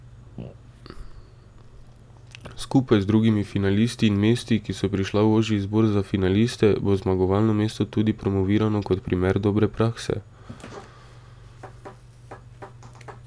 Skupaj z drugimi finalisti in mesti, ki so prišla v ožji izbor za finaliste, bo zmagovalno mesto tudi promovirano kot primer dobre prakse.